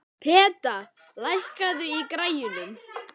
Peta, lækkaðu í græjunum.